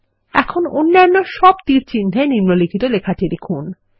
এখন অন্যান্য সব তীরচিহ্ন এ নিম্নলিখিত লেখাটি লিখুন